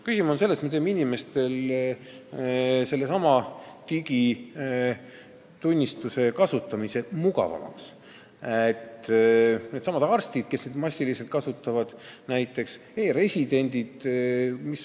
Küsimus on selles, et me teeme inimestele digiisikutunnistuse kasutamise mugavamaks: näiteks arstidele, kes seda massiliselt kasutavad, ja e-residentidele .